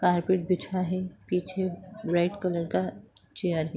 Carpet बिछा है पीछे रेड कलर का चेयर है।